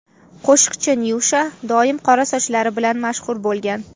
Qo‘shiqchi Nyusha doim qora sochlari bilan mashhur bo‘lgan.